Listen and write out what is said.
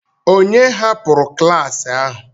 Ònye hapụrụ klas ahụ?